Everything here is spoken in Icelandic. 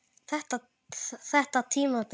Þetta tímabil?